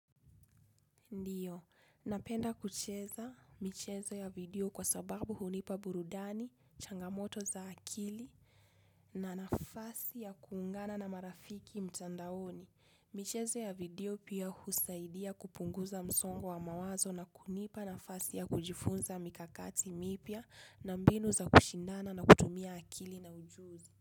Ndiyo, napenda kucheza michezo ya video kwa sababu hunipa burudani, changamoto za akili na nafasi ya kuungana na marafiki mtandaoni. Michezo ya video pia husaidia kupunguza msongo wa mawazo na kunipa nafasi ya kujifunza mikakati mipya na mbinu za kushindana na kutumia akili na ujuzi.